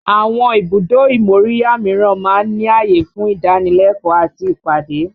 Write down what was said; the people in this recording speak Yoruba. Àwọn ibùdó ìmóríyá míràn máa ń ní ààyè fún ìdánilẹ́kọ̀ọ́ àti ìpàdé